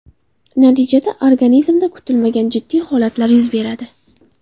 Natijada organizmda kutilmagan jiddiy holatlar yuz beradi.